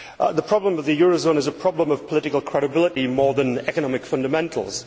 The problem with the eurozone is a problem of political credibility more than economic fundamentals.